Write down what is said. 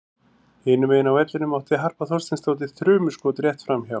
Hinum megin á vellinum átti Harpa Þorsteinsdóttir þrumuskot rétt framhjá.